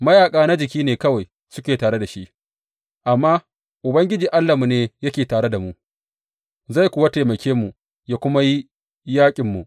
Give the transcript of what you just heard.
Mayaƙa na jiki ne kawai suke tare da shi, amma Ubangiji Allahnmu ne yake tare da mu, zai kuwa taimake mu yă kuma yi yaƙinmu.